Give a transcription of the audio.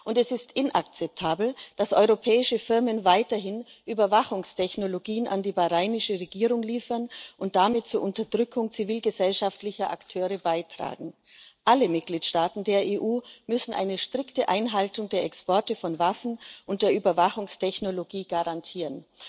Und es ist inakzeptabel, dass europäische Firmen weiterhin Überwachungstechnologien an die bahrainische Regierung liefern und damit zur Unterdrückung zivilgesellschaftlicher Akteure beitragen. Alle Mitgliedstaaten der EU müssen die strikte Einhaltung der Exportbeschränkungen von Waffen und Überwachungstechnologie garantieren.